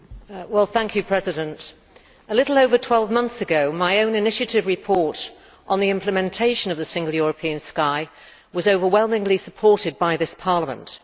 Madam President, a little over 12 months ago my own initiative report on the implementation of the Single European Sky was overwhelmingly supported by this Parliament.